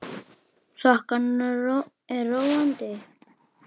Þokan er róandi